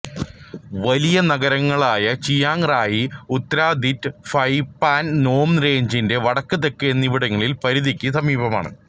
വലിയ നഗരങ്ങളായ Chiang Rai Uttaradit Phi Pan Nam റേഞ്ചിന്റെ വടക്ക് തെക്ക് എന്നിവിടങ്ങളിലെ പരിധിക്ക് സമീപമാണ്